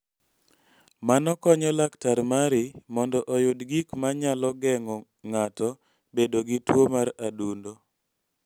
Mano konyo laktar mari mondo oyud gik ma nyalo geng�o ng�ato bedo gi tuo mar adundo.